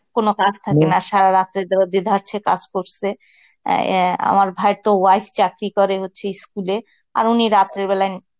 কোন কাজ থাকে না সারা রাতে ধরো দেধারসে কাজ করসে অ্যাঁ ইয়া আমার ভাইয়ের তো wife চাকরি করে হচ্ছে school এ আর উনি রাত্রে বেলায়